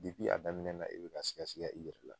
a daminɛ na i bi ka siga siga i yɛrɛ la